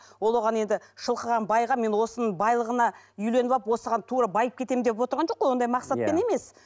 ол оған енді шылқыған байға мен осының байлығына үйленіп алып осыған тура байып кетемін деп отырған жоқ қой ондай мақсатпен емес